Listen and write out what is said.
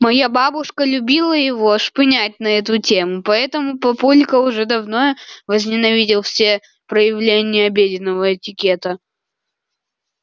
моя бабушка любила его шпынять на эту тему поэтому папулька уже давно возненавидел все проявления обеденного этикета